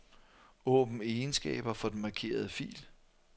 Åbn egenskaber for den markerede fil.